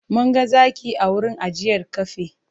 Mun ga zaki a wurin ajiyar kafe.